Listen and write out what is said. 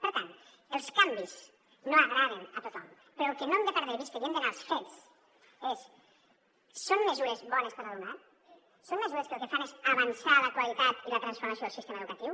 per tant els canvis no agraden a tothom però el que no hem de perdre vista i hem d’anar als fets és són mesures bones per a l’alumnat són mesures que el que fan és avançar la qualitat i la transformació del sistema educatiu